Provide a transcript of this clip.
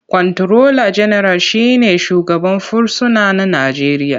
Kwanturola General shi ne shugaban fursuna na Najeriya.